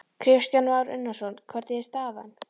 Kristján Már Unnarsson: Hvernig er staðan?